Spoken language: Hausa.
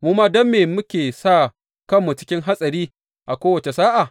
Mu ma don me muke sa kanmu cikin hatsari a kowace sa’a?